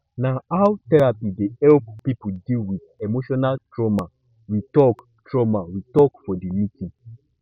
na how therapy dey help pipo deal wit emotional trauma we tok trauma we tok for di meeting